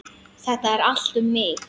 Þetta er allt um mig!